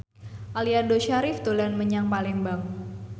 Aliando Syarif dolan menyang Palembang